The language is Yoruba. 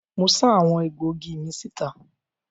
Mo sá àwọn egbòogi mi síta.